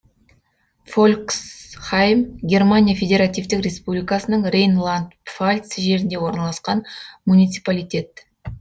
фольксхайм германия федеративтік республикасының рейнланд пфальц жерінде орналасқан муниципалитет